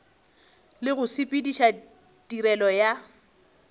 le go sepediša tirelo ya